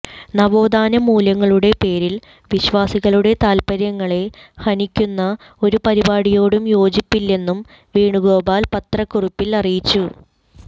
നവോത്ഥാന മൂല്യങ്ങളുടെ പേരിൽ വിശ്വാസികളുടെ താൽപര്യങ്ങളെ ഹനിക്കുന്ന ഒരു പരിപാടിയോടും യോജിപ്പില്ലെന്നും വേണുഗോപാൽ പത്രക്കുറിപ്പിൽ അറിയിച്ചു